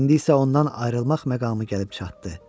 İndi isə ondan ayrılmaq məqamı gəlib çatdı.